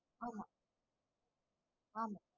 ஆமாம்